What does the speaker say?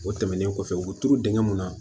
O tɛmɛnen kɔfɛ u bɛ turu dingɛ mun na